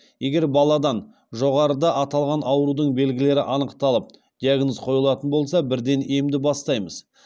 егер баладан жоғарыда аталған аурудың белгілері анықталып диагноз қойылатын болса бірден емді бастаймыз